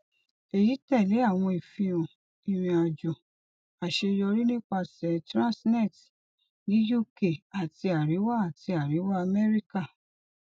eyi tẹle awọn ifihan irinajo aṣeyọri nipasẹ transnet ni uk ati ariwa ati ariwa america